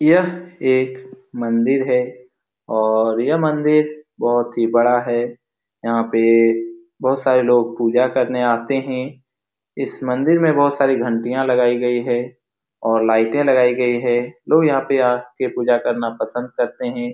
यह एक मंदिर है और यह मंदिर बहुत ही बड़ा है यहाँ पे बहुत सारे लोग पूजा करने आते हैं इस मंदिर में बहुत सारी घंटियां लगाई गई हैं और लाइटे लगाई गई हैं लोग यहाँ पे आके पूजा करना पसंद करते हैं।